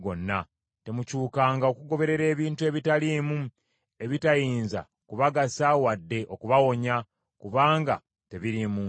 Temukyukanga okugoberera ebintu ebitaliimu, ebitayinza kubagasa wadde okubawonya, kubanga tebiriimu nsa.